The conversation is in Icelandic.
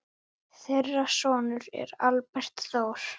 Meðal meðlima hópsins voru